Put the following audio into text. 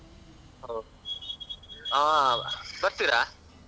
ಹೊ ಹಾ ಬರ್ತಿರಾ?